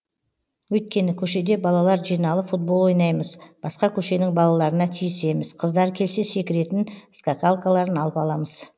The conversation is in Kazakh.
өйткені көшеде балалар жиналып футбол ойнаймыз басқа көшенің балаларына тиісеміз қыздар келсе секіретін скакалкаларын алып аламыз